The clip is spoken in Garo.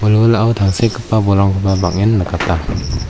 wilwilao tangsekgipa bolrangkoba bang·en nikata.